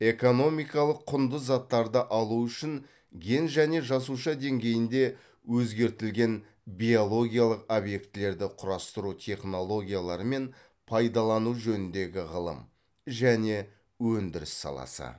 экономикалық құнды заттарды алу үшін ген және жасуша деңгейінде өзгертілген биологиялық объектілерді құрастыру технологиялары мен пайдалану жөніндегі ғылым және өндіріс саласы